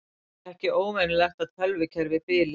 Ekki óvenjulegt að tölvukerfi bili